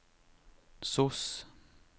sos